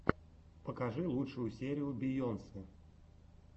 покажи лучшую серию бейонсе